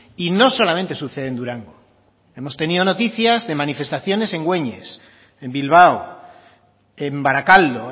y no solamente sucede en durango hemos tenido noticias de manifestaciones en güeñes en bilbao en barakaldo